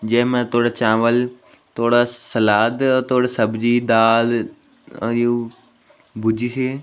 जैमा थोडा चावल थोडा सलाद थोडा सब्जी दाल अ यु भुज्जी सी ।